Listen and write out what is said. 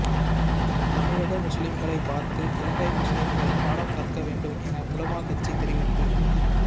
தமிழக முஸ்லிம்களை பார்த்து இலங்கை முஸ்லிம்கள் பாடம் கற்க வேண்டும் என உலமா கட்சி தெரிவிப்பு